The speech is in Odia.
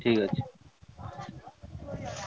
ଠିକ ଅଛି।